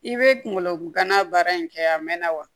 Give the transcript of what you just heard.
I bɛ kunkolo gana baara in kɛ a mɛnna wa